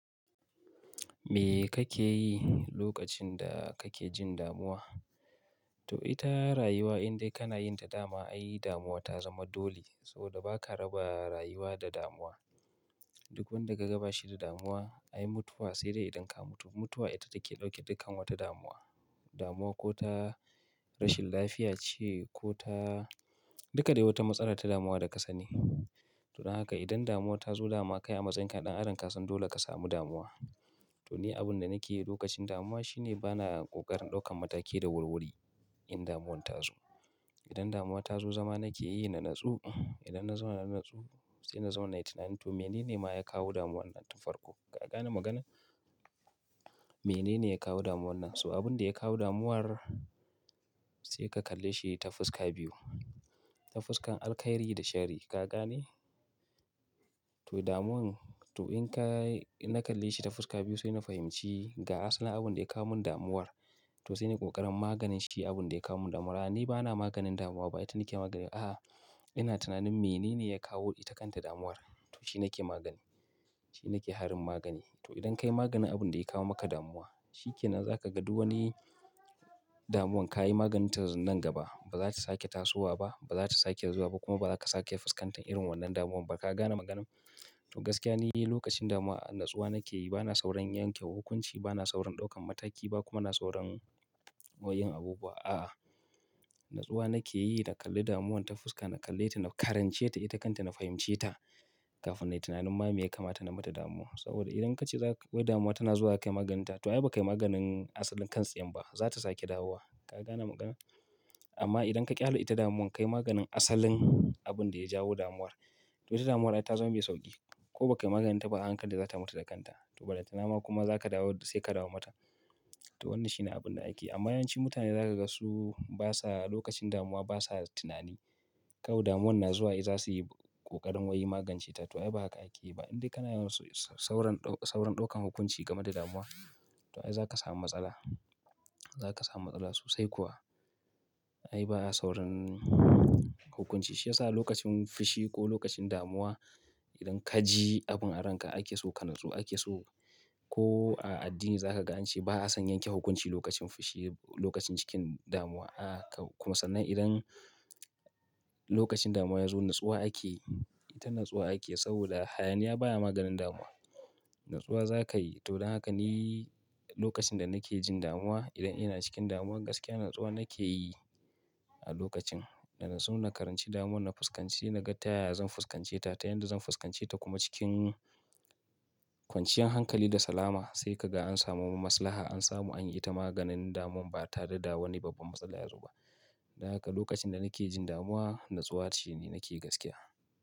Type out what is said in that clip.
Me kake yi lokacin da kake jin damuwa? To ita rayuwa indai kana yin ta dama, ai damuwa ta zama dole saboda ba ka raba rayuwa da damuwa. Duk wanda ka gaba shi da damuwa, ai mutuwa sai dai idan ka mutu. Mutuwa ita take ɗauke dukkan wata damuwa. Damuwa ko ta rashin lafiya ce ko ta duka dai wata matsala ta damuwa da ka sani. To don haka idan damuwa ta zo dama, ka na ɗan adam kasan dole ka samu damuwa. To ni abin da nake yi lokacin damuwa shi ne bana ƙoƙarin ɗaukan mataki da wuri-wuri in damuwan ta zo. Idan damuwa ta zo zama nake yi na natsu, idan na zauna na natsu sai na zauna na yi tunani to mene ne ma ya kawo damuwan nan tun farko? Ka gane maganar? Mene ne ya kawo damuwan nan? So abin da ya kawo damuwar sai ka kalle shi ta fuska biyu. Ta fuskan alkhairi da sharri. Ka gane? To damuwan to in ka, in na kalle shi ta fuska biyu sai na fahimci ga asalin abin da ya kawo mun damuwar. To sai na yi ƙoƙarin maganin shi abin da ya kawo mun damuwa. Ni bana maganin damuwa ba, ba ita nake magani. A'a, ina tunanin mene ne ya kawo ita kanta damuwar? To shi nake magani, shi nake harin magani. To idan ka yi maganin abin da ya kawo maka damuwa, shi ke nan za ka ga duk wani damuwan ka yi maganin ta nan gaba. Ba za ta sake tasowa ba, ba za ta sake zuwa ba kuma ba za ka sake fuskantar irin wannan damuwar ba. Ka gane maganar? To gaskiya ne lokacin damuwa natsuwa nake yi, bana saurin yanke hukunci, bana saurin ɗaukan mataki ba kuma na saurin wayyin abubuwa. A'a, natsuwa nake yi na kalle damuwan ta fuska, na kalle ita, na karance ita, ita kanta na fahimce ta kafin na yi tunanin ma me ya kamata na mata damuwar. Saboda idan ka ce za ka wai damuwa tana zuwa ka yi maganin ta, to ai bai kai maganin asalin kan tsiyar ba, za ta sake dawowa. Ka gane maganar? Amma idan ka ƙyale ita damuwan ka yi maganin asalin abin da ya jawo damuwar, to ita damuwar ai ta zama mai sauƙi. Ko bai kai maganin ta ba, a hankali za ta mutu da kanta. To ballantana ma kuma za ka dawo sai ka dawo mata. To wannan shi ne abun da ake yi. Amma yawancin mutane za ka ga su basa lokacin damuwa basa tunani. Kawai damuwan na zuwa ai za su yi ƙoƙarin wai magance ta. To ai ba haka ake yi ba. Indai kana yawan sɓsaurin, saurin ɗaukan hukunci game da damuwa, to ai za ka samu matsala. Za ka samu matsala sosai kuwa. Ai ba a saurin hukunci. Shi ya sa lokacin fushi ko lokacin damuwa idan ka ji abin a ranka ake so ka natsu, ake so ko a addini za ka ga an ce ba a son yanke hukunci lokacin fushi, lokacin cikin damuwa. A'a, kawu kuma sannan idan lokacin damuwa ya zo natsuwa ake yi, ita natsuwa ake yi saboda hayaniya baya maganin damuwa. Natsuwa za ka yi. To don haka ni lokacin da nake jin damuwa, idan ina cikin damuwa gaskiya natsuwa nake yi a lokacin. Da na natsu, na karanci damuwan, na fuskanci, na ga ta ya ya zan fuskanceta, ta yanda zan fuskance ta kuma cikin kwanciyan hankali da salama sai ka ga an samu mu maslaha, an samu an yi ita maganin damuwan ba tare da dawowar babban matsala yazo ba. Don haka lokacin da nake jin damuwa, natsuwa ce ne nake gaskiya.